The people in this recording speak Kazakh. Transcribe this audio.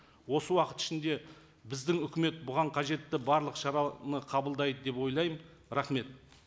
осы уақыт ішінде біздің үкімет бұған қажетті барлық шараны қабылдайды деп ойлаймын рахмет